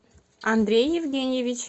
андрей евгеньевич